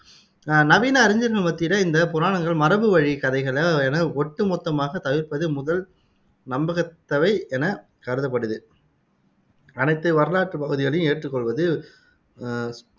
நவீன அறிஞர்கள் மத்தியில இந்தப் புராணங்கள் மரபு வழிக் கதைகள் என ஒட்டு மொத்தமாகத் தவிர்ப்பது முதல் நம்பத்தக்கவை எனக் கருதப்படுது அனைத்து வரலாற்றுப் பகுதிகளையும் ஏற்றுக் கொள்வது அஹ்